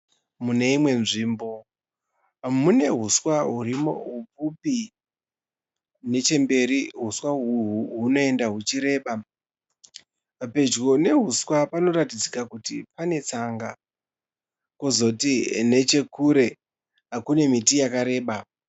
Mune imwe nzvimbo mune huswa hurimo hupfipi nechemberi huswa uyu hunoenda huchi reba, pedyo nehuswa panoratidza kuti pane tsanga, kozoti neche kure kune miti yakareba.